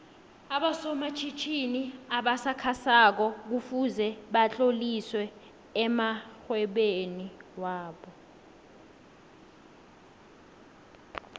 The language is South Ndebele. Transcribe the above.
aboso matjhitjhini obasakha soko kufuze batlolise amoihwebo wobo